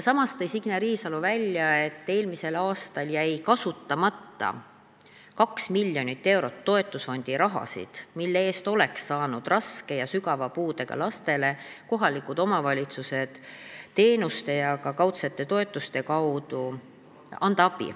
Samas tõi Signe Riisalo välja, et eelmisel aastal jäi kasutamata 2 miljonit eurot toetusfondi raha, mille eest oleksid kohalikud omavalitsused saanud raske ja sügava puudega lastele teenuste ja kaudsete toetuste kaudu abi anda.